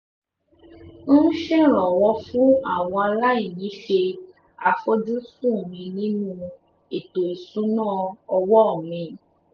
ń ṣèrànwọ́ fún àwọn aláìní ṣe àfojúsùn mi nínú ètò ìṣúnná ọwọ́ ọ̀ mi